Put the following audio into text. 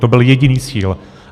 To byl jediný cíl.